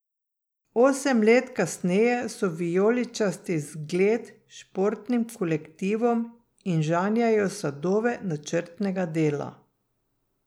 Osem let kasneje so vijoličasti zgled športnim kolektivom in žanjejo sadove načrtnega dela.